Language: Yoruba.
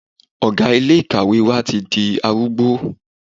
Ọ̀gá ilé ìkàwé wa ti di arúgbó.